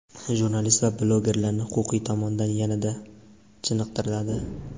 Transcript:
jurnalist va blogerlarni huquqiy tomondan yanada chiniqtiradi.